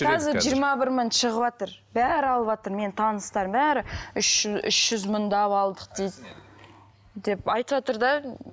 қазір жиырма бір мың шығыватыр бәрі алыватыр менің таныстарымның бәрі үш үш жүз мыңдап алдық дейді деп айтыватыр да